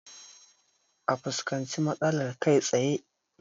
A fuskanci matsalar kai tsaye